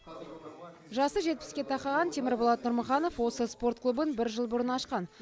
жасы жетпіске тақаған темірболат нұрмұханов осы спорт клубын бір жыл бұрын ашқан